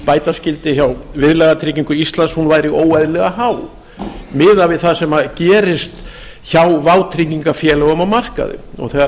bæta skyldi hjá viðlagatryggingu íslands væri óeðlilega há miðað við það sem gerist hjá vátryggingafélögum á markaði þegar